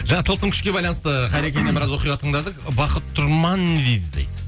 жаңа тылсым күшке байланысты қайрекеңнен біраз оқиға тыңдадық бақыт тұрман не дейді дейді